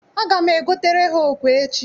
Aga m ego tere ha okwe echi.